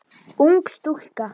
Ung stúlka.